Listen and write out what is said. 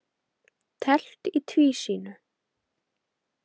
Teflt í tvísýnu.